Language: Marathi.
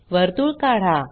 वर्तुळ काढा